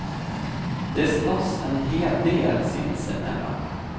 De slåss en hel del sinsemellan.